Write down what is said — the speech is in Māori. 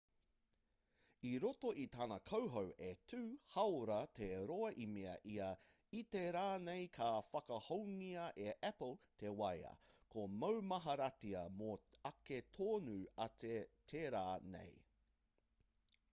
i roto i tana kauhau e 2 hāora te roa i mea ia i te rā nei ka whakahoungia e apple te waea ka maumaharatia mō ake tonu atu te rā nei